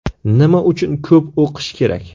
Nima uchun ko‘p o‘qish kerak?